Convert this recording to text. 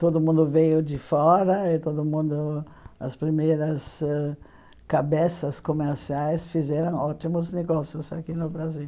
Todo mundo veio de fora e todo mundo as primeiras ãh cabeças comerciais fizeram ótimos negócios aqui no Brasil.